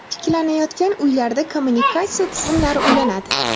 Tiklanayotgan uylarda kommunikatsiya tizimlari ulanadi.